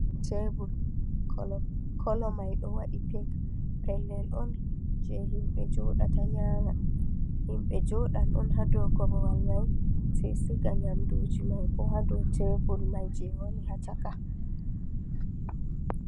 Tebur. Kolo mai ɗo waɗi pink. Pellel on jei himɓe jooɗata nyama. Himɓe jooɗan on haa dou korwal mai, sai siga nyamduji mai bo ha dou tebur mai jei woni ha caka.